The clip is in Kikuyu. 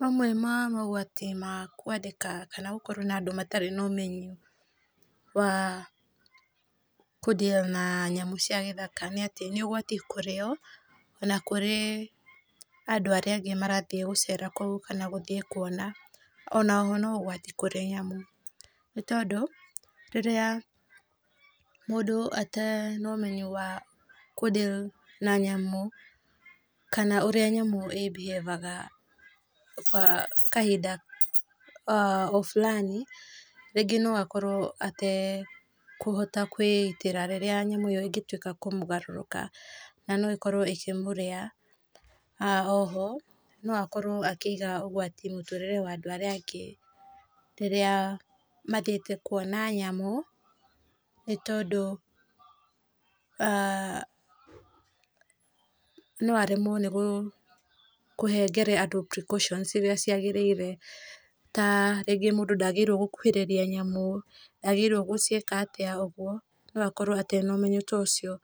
Mamwe ma mũgwati ma kwandĩka kana gũkorwo na andũ matarĩ na ũmenyo wa kũ deal na nyamũ cia gĩthaka nĩ atĩ nĩ ũgwati kũrĩ o na kũrĩ ona kũrĩ andũ arĩa angĩ marathiĩ kũu kana gũthiĩ kwona onao no ũgwati kũrĩ nyamũ, nĩ tondũ rĩrĩa mũndũ atarĩ na ũmenyo wa kũdeal na nyamũ, kana ũrĩa nyamũ ĩĩ mbihavaga kahinda o fulani rĩngĩ no akorwo atekwĩgitĩra rĩrĩa nyamũ ĩngĩtuĩka ya kũmũgarũrũka na no ĩkorwo ĩkĩmũrĩa na oho no akorwo akĩiga ũgwati kũrĩ mĩtũrĩre ya andũ arĩa angĩ, rĩrĩa mathiĩte kwona nyamũ nĩ tondũ, no aremwo nĩ kũnengera andũ precautions iria cia gĩrĩire, ta rĩngĩ mũndũ ndagĩrĩirwo nĩ gũkuhĩriria nyamũ, ndagĩrĩirwo gũciĩka atĩa, ũguo no akorwo atarĩ na ũmenyo ũcio,